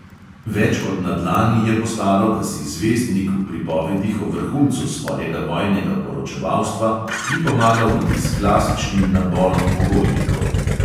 Več kot na dlani je postalo, da si zvezdnik v pripovedih o vrhuncu svojega vojnega poročevalstva ni pomagal niti s klasičnim naborom pogojnikov.